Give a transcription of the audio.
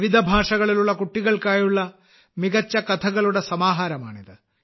വിവിധ ഭാഷകളിലുള്ള കുട്ടികൾക്കായുള്ള മികച്ച കഥകളുടെ സമാഹാരമാണിത്